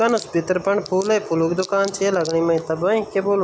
कन भितर फर फूल ही फूलूक दूकान च या लगणी मैं तब ए क्या बुलूण।